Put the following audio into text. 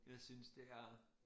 Jeg synes det er